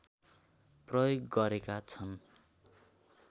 प्रयोग गरेका छन्